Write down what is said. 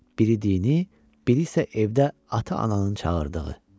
Biri dini, biri isə evdə ata-ananın çağırdığı.